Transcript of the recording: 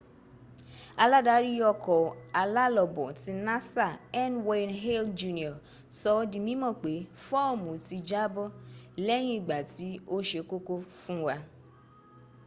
aládarí ọkọ̀ alálọbọ̀ ti nasa n.wayne hale jr. sọ ọ́ di mímọ̀ pé fóòmùn ti jábọ́ lẹ́yìn ìgbà tí ó se kókó fún wa